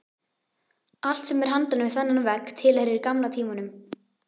Allt sem er handan við þennan vegg tilheyrir gamla tímanum.